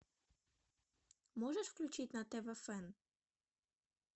можешь включить на тв фэн